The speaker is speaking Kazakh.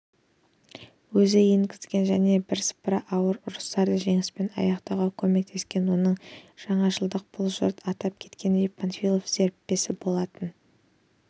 өзі енгізген және бірсыпыра ауыр ұрыстарды жеңіспен аяқтауға көмектескен оның жаңашылдығы бұл жұрт атап кеткендей панфилов серіппесі болатын